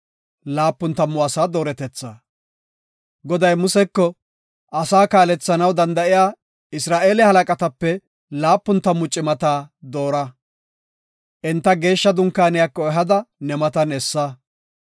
Goday Museko, “Asaa kaalethanaw danda7iya Isra7eele halaqatape laapun tammu cimata doora. Enta Geeshsha Dunkaaniyako ehada ne matan essa.